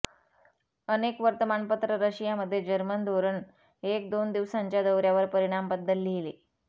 अनेक वर्तमानपत्र रशिया मध्ये जर्मन धोरण एक दोन दिवसांच्या दौऱ्यावर परिणाम बद्दल लिहिले